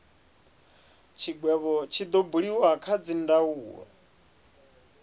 tshigwevho tshi do buliwa kha dzindaulo